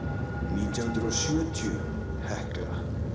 nítján hundruð sjötíu Hekla